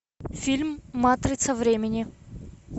фильм матрица времени